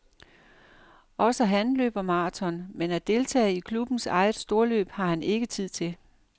Også han løber marathon, men at deltage i klubbens eget storløb, har han ikke tid til.